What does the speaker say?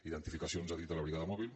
identificacions a dit de la brigada mòbil